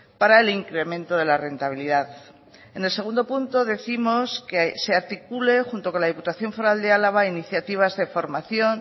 para el incremento de la rentabilidad en el segundo punto décimos que se articule junto con la diputación foral de álava iniciativas de formación